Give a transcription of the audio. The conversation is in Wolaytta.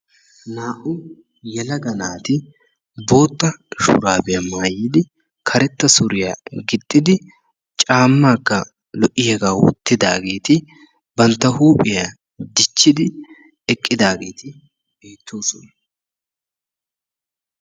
Naa'u yelagga naati bootta shuraabiya maayidi, karetta suriyaa gixidi, caammakka lo'iyaaga wottidagetti bantta huuphphiyaa dichchidi eqidagetti beettosona.